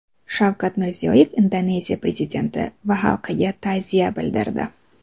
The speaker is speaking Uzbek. Shavkat Mirziyoyev Indoneziya prezidenti va xalqiga ta’ziya bildirdi.